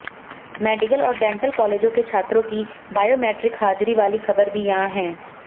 medical और dental कालेजों के छात्रों की बायोमेट्रिक हाजिरी वाली खबर भी यहां है